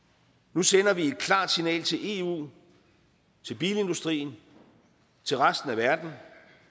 nu sender vi et klart signal til eu til bilindustrien til resten af verden